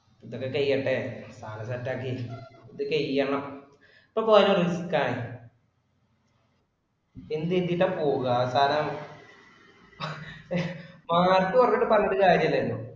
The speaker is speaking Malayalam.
ഇതൊക്കെ കഴിയട്ടെ, സാധനം set ആക്കി. ഇത് കഴിയണം ഇപ്പൊ പോയാല് ഒരു കാര്യോം ഇല്ല. എന്ത് ചെയ്തിട്ട പോവുക കാരണം mark കുറഞ്ഞിട്ടു പറഞ്ഞിട്ട് കാര്യം ഇല്ലല്ലോ.